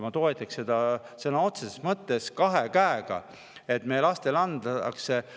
Ma toetaksin sõna otseses mõttes kahe käega seda, et meie lastele antaks.